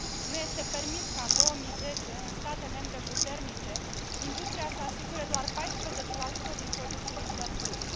Nu este permis ca în 2010, în state membre puternice, industria să asigure doar 14 din produsul intern brut.